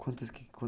Quantas que